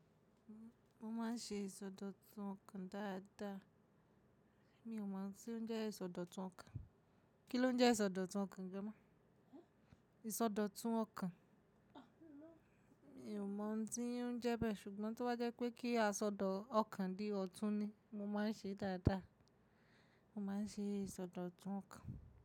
Mo maa n ṣe ìsọdọ̀tun ọ̀kan dáadáa. Mi ò mọ̀ oun tí ó ń jẹ́ ìsọdọ̀tun ọ̀kan. Kí ló ń jẹ́ ìsọdọ̀tun ọ̀kan gan-an? Ìsọdọ̀tun ọ̀kan. Mi ò mọ̀ tí ń jẹ́ bẹ́ẹ̀, ṣùgbọ́n tó bá jẹ́ pé kí a ṣọ ọ̀kan di ọ̀tun ni, mo máa ń ṣe dáadáa. Mo máa ń ṣe ìsọdọ̀tun ọ̀kan.